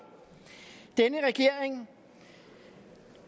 at denne regering